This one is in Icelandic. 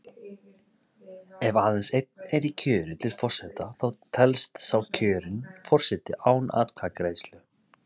Ef aðeins einn er í kjöri til forseta þá telst sá kjörinn forseti án atkvæðagreiðslu.